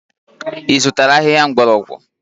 Ị zụtara ahịhịa mgbọrọgwụ?